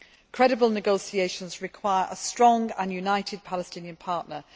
Credible negotiations require a strong and united Palestinian partner.